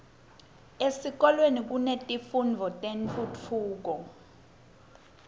etikolweni kunetifundvo tetentfutfuko